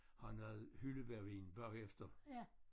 Have noget hyldebærvin bagefter